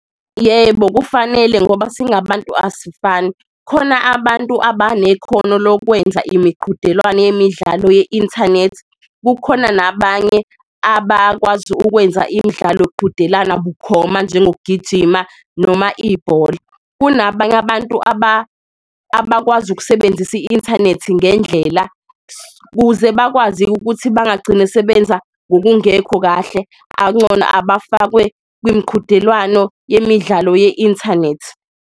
Yebo, kufanele ngoba singabantu asifani khona abantu abanekhono lokwenza imiqhudelwane yemidlalo ye-inthanethi, kukhona nabanye abakwazi ukwenza imidlalo yokuqhudelana bukhoma njengokugijima noma ibhola. Kunabanye abantu abakwazi ukusebenzisa i-inthanethi ngendlela kuze bakwazi-ke ukuthi bangagcine sebenza ngokungekho kahle ak'ncono abafakwe kwimqhudelwano yemidlalo ye-inthanethi.